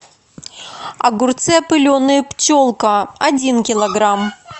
огурцы опыленные пчелка один килограмм